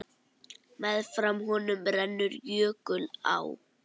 Meðfram honum rennur jökulá.